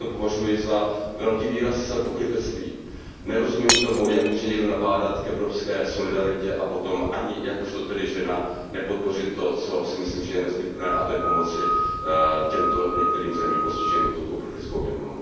Já to považuji velký výraz pokrytectví. Nerozumím tomu, jak může někdo nabádat k evropské solidaritě a potom, ani jakožto tedy žena, nepodpořit to, co si myslím, že je nezbytné, a to je pomoci zemím postiženým touto uprchlickou vlnou.